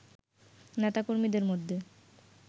নেতা কর্মীদের মধ্যে